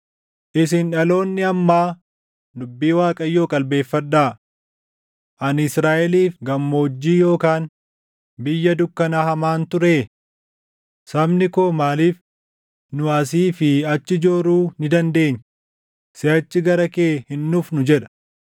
“Isin dhaloonni ammaa dubbii Waaqayyoo qalbeeffadhaa: “Ani Israaʼeliif gammoojjii yookaan biyya dukkana hamaan turee? Sabni koo maaliif, ‘Nu asii fi achi jooruu ni dandeenya; siʼachi gara kee hin dhufnu’ jedha?